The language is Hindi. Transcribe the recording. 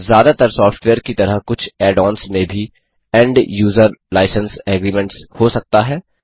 ज्यादातर सॉफ्टवेयर की तरह कुछ ऐड ऑन्स में भी end यूजर लाइसेंस एग्रीमेंट्स हो सकता है